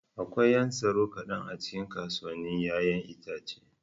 Akwai 'yan tsaro kaɗan a cikin kasuwannin 'ya'yan itace.